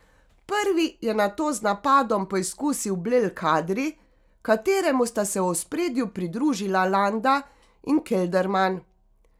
Prvi je nato z napadom poizkusil Blel Kadri, kateremu sta se v ospredju pridružila Landa in Kelderman.